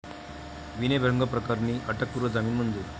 विनयभंगप्रकरणी अटकपूर्व जामीन मंजूर